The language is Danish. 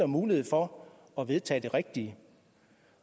mulighed for at vedtage det rigtige